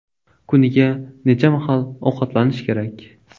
Kuniga necha mahal ovqatlanish kerak?.